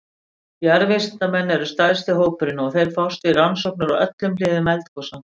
Jarðvísindamenn eru stærsti hópurinn og þeir fást við rannsóknir á öllum hliðum eldgosa.